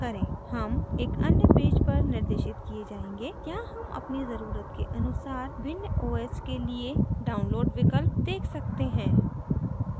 हम एक अन्य पेज पर निर्देशित किये जायेंगे यहाँ हम अपनी ज़रुरत के अनुसार भिन्न os के लिए download विकल्प देख सकते हैं